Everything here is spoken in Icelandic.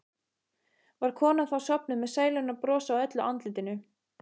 Var konan þá sofnuð með sælunnar bros á öllu andlitinu.